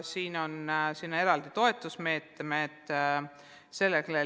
Selle toetuseks on eraldi meetmed.